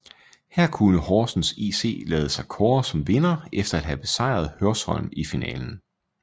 Her kunne Horsens IC lade sig kåre som vinder efter at have besejret Hørsholm i finalen